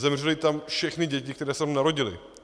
Zemřely tam všechny děti, které se tam narodily.